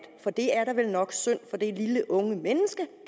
for det er da vel nok synd for det lille unge menneske